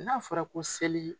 N'a fɔra ko seli